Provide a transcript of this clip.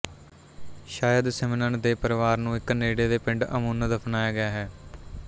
ਸਯਦ ਸਿਮਨਨ ਦੇ ਪਰਿਵਾਰ ਨੂੰ ਇੱਕ ਨੇੜੇ ਦੇ ਪਿੰਡ ਅਮੁੰਨ ਦਫ਼ਨਾਇਆ ਗਿਆ ਹੈ